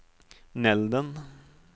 Nälden